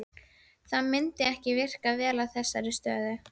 Elíeser, hvaða myndir eru í bíó á sunnudaginn?